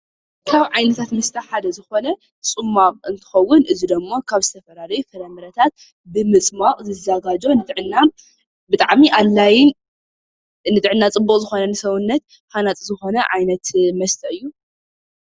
ካብ ዓይነታት መስተ ሓደ ዝኮነ ፅማቅ እንትከውን እዚ ድማ ካብ ዝተፈላለዩ ፍራምረታት ብምፅማቅ ዝዘጋጆ ንጥዕና ብጣዕሚ ፅቡቅ ዝኮነ ንሰውነት ሃናፂ ዝኮነ ዓይነት መስተ እዩ፡፡